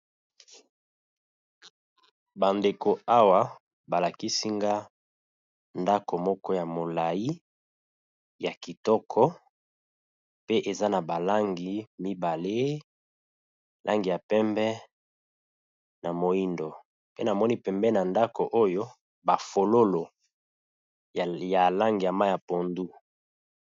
Ba ndeko awa ba lakisi nga ndako moko ya molai ya kitoko pe eza na ba langi mibale, langi ya pembe na moyindo pe namoni pembeni ya ndako oyo ba fololo ya langi ya mayi ya pondu.